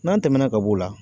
N'an tɛmɛna ka b'o la